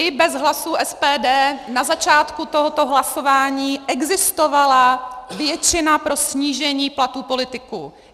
I bez hlasů SPD na začátku tohoto hlasování existovala většina pro snížení platů politiků.